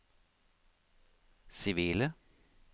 sivile